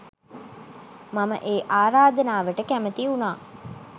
මම ඒ ආරාධනාවට කැමති වුණා.